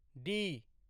D